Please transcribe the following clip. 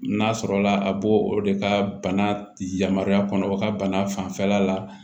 N'a sɔrɔla a b'o o de ka bana yamaruya kɔnɔ u ka bana fanfɛla la